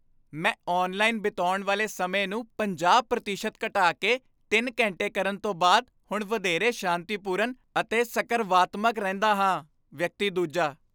ਮੈਂ ਔਨਲਾਈਨ ਬਿਤਾਉਣ ਵਾਲੇ ਸਮੇਂ ਨੂੰ ਪੰਜਾਹ ਪ੍ਰਤੀਸ਼ਤ ਘਟਾ ਕੇ ਤਿੰਨ ਘੰਟੇ ਕਰਨ ਤੋਂ ਬਾਅਦ ਹੁਣ ਵਧੇਰੇ ਸ਼ਾਂਤੀਪੂਰਨ ਅਤੇ ਸਕਰਵਾਤਮਕ ਰਹਿੰਦਾ ਹਾਂ ਵਿਅਕਤੀ ਦੂਜਾ